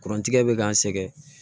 Kurantigɛ bɛ k'an sɛgɛn